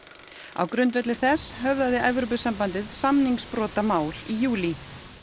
á grundvelli þess höfðaði Evrópusambandið samningsbrotamál í júlí